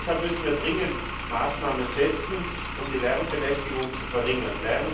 Deshalb müssen wir dringend Maßnahmen ergreifen, um die Lärmbelästigung zu verringern.